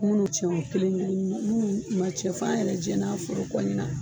Munnu cɛn o kelen kelen nu munnu ma cɛn f'an yɛrɛ jɛn'a fɔra kɔ ɲina